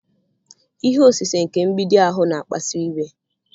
Ihe osise nke mgbidi ahụ na-akpasu iwe